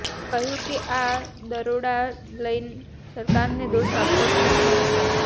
તેઓએ કહ્યું કે આ દરોડા લઈ સરકારને દોષ આપવો ઠીક નથી